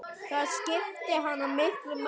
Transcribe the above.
Það skipti hana miklu máli.